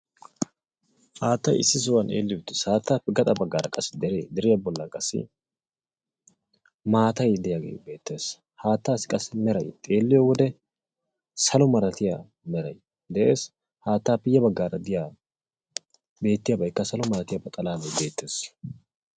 Haattay issi sohuwwan eelli uttiis; haattappe gaxa baggara qassi dere, deriyaa bollan qassi maatay de'iyaagee beettees; hattassi qassi xeeliyo wode salo meray de''ees; haattappe ya baagara diyaa beettiyabaykka salo malatiyaabay beettees.